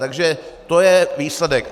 Takže to je výsledek.